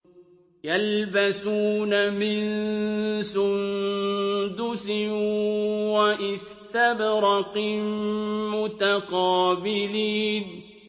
يَلْبَسُونَ مِن سُندُسٍ وَإِسْتَبْرَقٍ مُّتَقَابِلِينَ